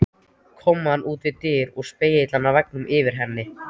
Kommóða út við dyr og spegillinn á veggnum yfir henni.